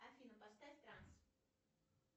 афина поставь транс